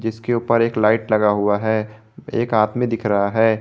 इसके ऊपर एक लाइट लगा हुआ है एक आदमी में दिख रहा है।